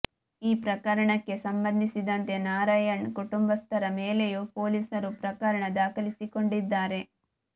ಈ ಪ್ರಕರಣಕ್ಕೆ ಸಂಬಂಧಿಸಿದಂತೆ ನಾರಾಯಣ್ ಕುಟುಂಬಸ್ಥರ ಮೇಲೆಯೂ ಪೊಲೀಸರು ಪ್ರಕರಣ ದಾಖಲಿಸಿಕೊಂಡಿದ್ದಾರೆ